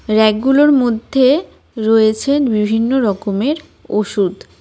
রেকগুলোর মধ্যে রয়েছে বিভিন্ন রকমের ওষুধ.